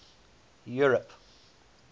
europe